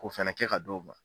K'o fana kɛ ka d'o ma.